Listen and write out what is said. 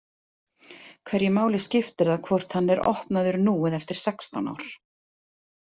Hverju máli skiptir það hvort hann er opnaður nú eða eftir sextán ár?